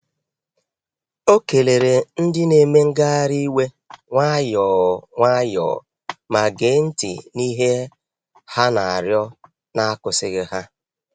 Ọ keleere ndị na-eme ngagharị iwe nwayọọ nwayọọ ma gee ntị n’ihe ha na-arịọ na-akwụsịghị ha.